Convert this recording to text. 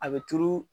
A bɛ turu